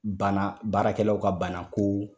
Bana baarakɛlaw ka bana ko